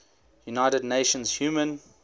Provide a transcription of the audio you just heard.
united nations human